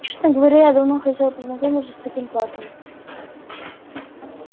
честно говоря я давно хотела познакомиться с таким парнем